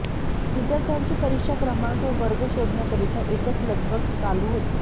विद्यार्थ्यांची परिक्षा क्रमाक व वर्ग शोधण्या करिता एकच लगबग चालू होती